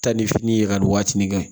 Taa ni fini ye ka nin waatinin kɛ